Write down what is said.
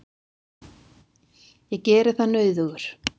Ég geri það nauðugur.